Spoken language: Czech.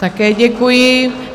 Také děkuji.